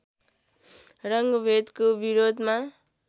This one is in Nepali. रङ्गभेदको विरोधमा